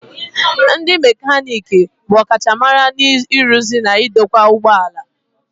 Ndị mekaniki bụ ọkachamara n'ịrụzi na idokwa ụgbọ ala.